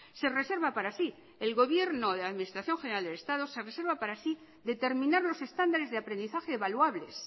se reserva para sí el gobierno de la administración general del estado se reserva para sí determinar los estándares de aprendizaje evaluables